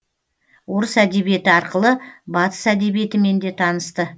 орыс әдебиеті арқылы батыс әдебиетімен де танысты